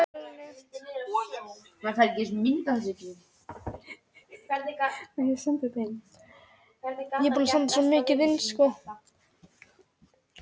Flutt hingað í dag grjótið frá Hornafirði sem keypt var í gær.